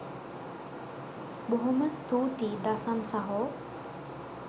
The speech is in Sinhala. බොහොම ස්තූතියි දසන් සහෝ